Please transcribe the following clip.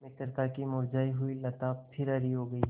मित्रता की मुरझायी हुई लता फिर हरी हो गयी